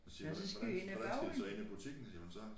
Hun siger hvordan hvordan skal de så ind i butikken siger hun så